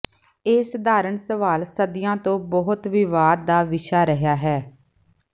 ਇਹ ਸਧਾਰਨ ਸਵਾਲ ਸਦੀਆਂ ਤੋਂ ਬਹੁਤ ਵਿਵਾਦ ਦਾ ਵਿਸ਼ਾ ਰਿਹਾ ਹੈ